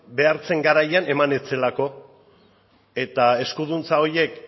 behar zen garaian eman ez zelako eta eskuduntza horiek